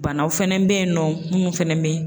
Banaw fɛnɛ be yen nɔ munnu fɛnɛ be